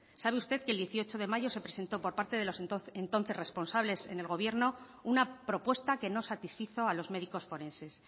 sabe usted que el dieciocho de mayo se presentó por parte de los entonces responsables en el gobierno una propuesta que no satisfizo a los médicos forenses